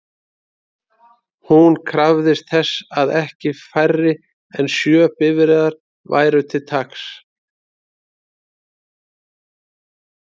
Hún krafðist þess að ekki færri en sjö bifreiðar væru til taks.